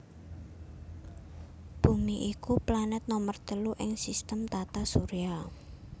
Bumi iku planet nomer telu ing sistem tata surya